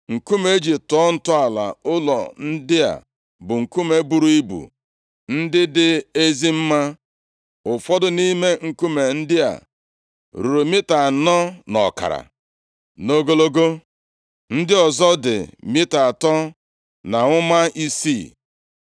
Nkume e ji tọọ ntọala ụlọ ndị a bụ nkume buru ibu, ndị dị ezi mma. Ụfọdụ nʼime nkume ndị a ruru mita anọ na ọkara nʼogologo, ndị ọzọ dị mita atọ na ụma isii.